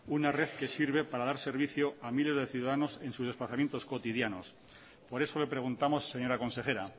una red que sirve para dar servicio a miles de ciudadanos en sus desplazamientos cotidianos por eso le preguntamos señora consejera